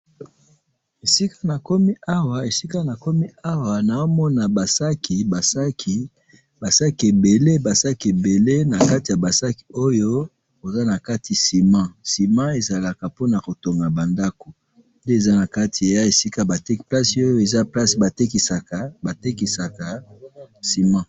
Esika nakomi awa, esika nakomi awa naamona ba sac, ba sac, ba sac ebele, ba sac ebele, nakati yaba sac oyo toza nakati ciment, ciment ezalaka ponakotonga bandako, nde eza nakati ya esika bateka, place oyo eza place batekisaka, batekisaka ciment